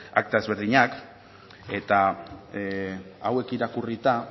akta desberdinak eta hauek irakurrita